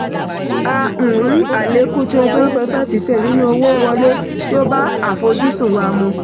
a um rí àlékún twenty one point five percent nínú owó wọlé tí ó bá àfojúsùn wa mu.